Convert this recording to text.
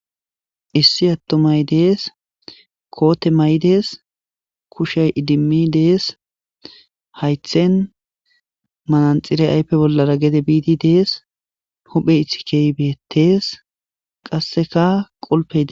Issi attomay dees koote maydees kushay idimmi dees haythen mananxire aype bollara gede biidi dees huphe itikybeettees qasseka qolpede